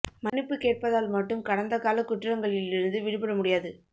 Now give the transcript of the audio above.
மன்னிப்பு கேட்பதால் மட்டும் கடந்தகாலக் குற்றங்களிலிருந்து விடுபட முடியாது